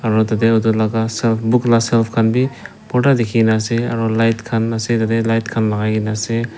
aro yete utu book laka shelf khanbi bhorta dekhikena ase aro light kah ase light khan lakaikena ase.